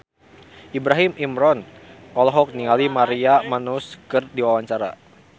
Ibrahim Imran olohok ningali Maria Menounos keur diwawancara